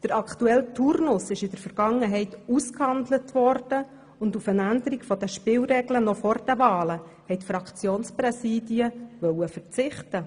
Der aktuelle Turnus wurde in der Vergangenheit ausgehandelt, und auf eine Änderung der Spielregeln noch vor den Wahlen wollten die Fraktionspräsidien verzichten.